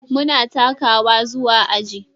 Muna takawa zuwa aji.